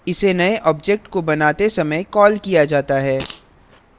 इसे नए object को बनाते समय कॉल किया जाता है